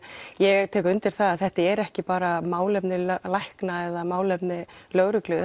ég tek undir að þetta eru ekki bara málefni lækna eða málefni lögreglu